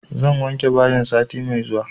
Zan wanke bayin sati mai zuwa